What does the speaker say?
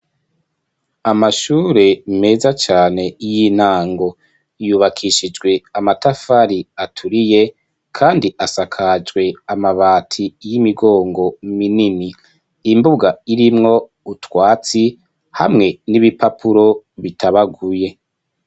Amashure meza cane y'intango yubakishijwe amatafari aturiye kandi asakajwe amabati y'imigongo minini imbuga irimwo utwatsi hamwe n'ibipapuro bitabaguye.